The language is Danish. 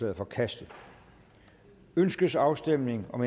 er forkastet ønskes afstemning om